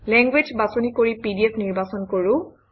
language বাছনি কৰি PDF নিৰ্বাচন কৰোঁ